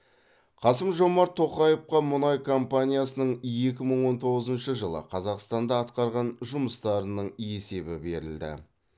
қасым жомарт тоқаевқа мұнай компаниясының екі мың он тоғызыншы жылы қазақстанда атқарған жұмыстарының есебі берілді